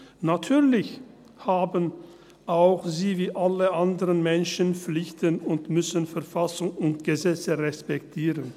Natürlich haben auch sie, wie alle anderen Menschen, Pflichten und müssen Verfassung und Gesetze respektieren.